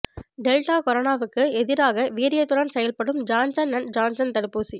delta கொரோனாவுக்கு எதிராக வீரியத்துடன் செயல்படும் ஜான்சன் அண்ட் ஜான்சன் தடுப்பூசி